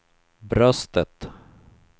bröstet